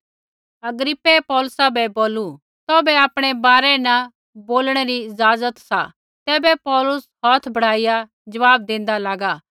अग्रिप्पै पौलुसा बै बोलू तौभै आपणै बारै न बोलणै री इज़ाज़त सा तैबै पौलुस हौथ बढ़ाइया ज़वाब देंदा लागा कि